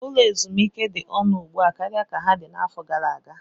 Ụlọ ezumike dị ọnụ ugbu a karịa ka ha dị n'afọ gara aga.